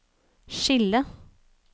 skille